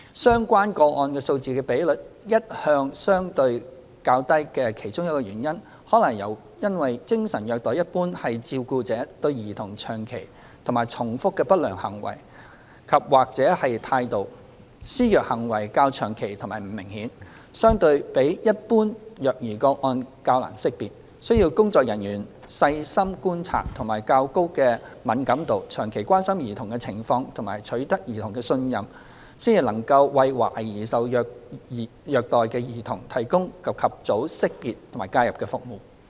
相關個案數字的比率一向相對較低的其中一個原因，可能是因為精神虐待一般是照顧者對兒童長期和重複的不良行為及/或態度，施虐行為較長期及不明顯，相對比一般虐兒個案較難識別，需要工作人員細心觀察及較高的敏感度、長期關心兒童的情況及取得兒童的信任，才能為懷疑受虐兒童提供及早識別和介入服務。